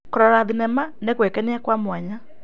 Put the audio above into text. Kũrora thenema nĩ gwĩkenia kwa mwanya.